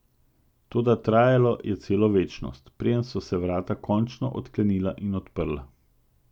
Toda trajalo je celo večnost, preden so se vrata končno odklenila in odprla.